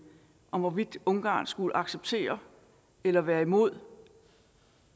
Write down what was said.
om hvorvidt ungarn skulle acceptere eller være imod